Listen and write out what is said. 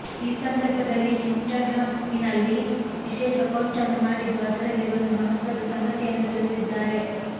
ಈ ಸಂದರ್ಭದಲ್ಲಿ ಇನ್ಸ್ಟಾಗ್ರಾಮ್ ಇನಲ್ಲಿ ವಿಶೇಷ ಪೋಸ್ಟನ್ನು ಮಾಡಿದ್ದು ಅದರಲ್ಲಿ ಒಂದು ಮಹತ್ವದ ಸಂಗತಿಯನ್ನು ತಿಳಿಸಿದ್ದಾರೆ